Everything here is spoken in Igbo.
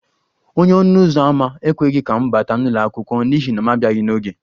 Onye ọnụ ụzọ ámá ekweghị ka m bata n'ụlọ akwụkwọ n'ihi na m abịaghi n'oge